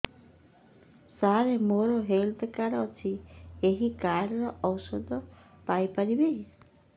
ସାର ମୋର health card ଅଛି ଏହି କାର୍ଡ ରେ ଔଷଧ ପାଇପାରିବି